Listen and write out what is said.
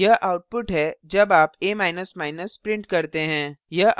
यह output है जब आप a print करते हैं